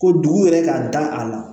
Ko dugu yɛrɛ ka da a la